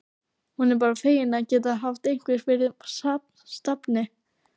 Hún er bara fegin að geta haft eitthvað fyrir stafni.